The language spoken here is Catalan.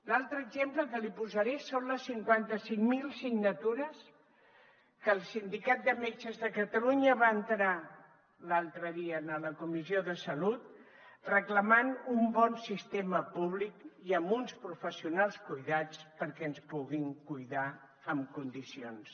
l’altre exemple que li posaré són les cinquanta cinc mil signatures que el sindicat de metges de catalunya va entrar l’altre dia a la comissió de salut reclamant un bon sistema públic i amb uns professionals cuidats perquè ens puguin cuidar en condicions